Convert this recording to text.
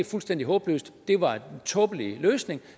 fuldstændig håbløs det var en tåbelig løsning og